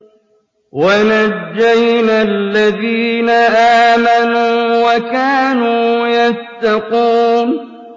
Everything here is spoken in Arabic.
وَنَجَّيْنَا الَّذِينَ آمَنُوا وَكَانُوا يَتَّقُونَ